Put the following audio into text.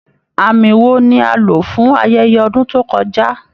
Àmì wo ni a lò fún ayẹyẹ ọdún tó kọjá?